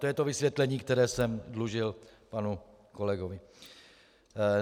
To je to vysvětlení, které jsem dlužil panu kolegovi.